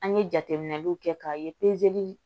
An ye jateminɛliw kɛ k'a ye pezeli